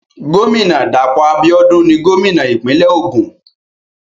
Gómìnà Dàpọ̀ Abíọ́dún ni gómìnà ìpínlẹ̀ Ògùn.